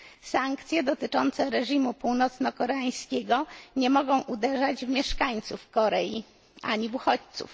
Sankcje dotyczące reżimu północnokoreańskiego nie mogą uderzać w mieszkańców Korei ani w uchodźców.